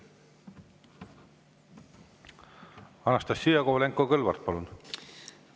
Anastassia Kovalenko-Kõlvart, palun!